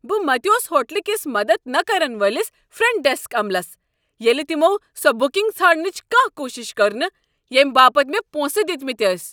بہٕ متیوس ہوٹلہٕ کِس مدد نہٕ كرن وٲلِس فرنٹ ڈیسک عملس ییٚلہ تمو سۄ بُکنٛگ ژھانڈنٕچ کانٛہہ کوٗشِش كٔر نہٕ ییٚمہ باپتھ مےٚ پونسہٕ دِتمٕتۍ ٲسۍ۔